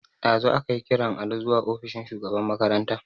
Dazu akai kiran Ali zuwa ofishin shugaban makaranta.